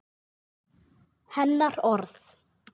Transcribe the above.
Hennar orð.